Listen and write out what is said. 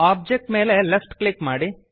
object ಮೇಲೆ left click ಮಾಡಿ